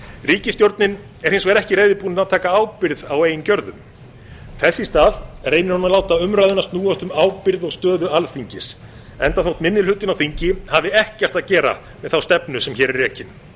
ríkisstjórnin er hins vegar ekki reiðubúin að taka ábyrgð á eigin gjörðum þess í stað reynir hún að láta umræðuna snúast um ábyrgð og stöðu alþingis enda þótt minni hlutinn á þingi hafi ekkert að gera með þá stefnu sem hér er rekin